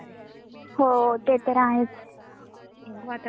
बघू आता स्वेटर पण एक घेणार आहे मी चांगला.